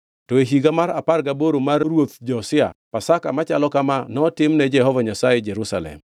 To e higa mar apar gaboro mar ruoth Josia, Pasaka machalo kama notimne Jehova Nyasaye e Jerusalem.